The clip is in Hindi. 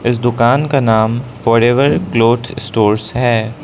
इस दुकान का नाम फॉरएवर क्लॉथ स्टोर्स है।